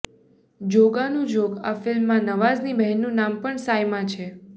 જોગાનુજોગ આ ફિલ્મમાં નવાઝની બહેનનું નામ પણ સાયમા છે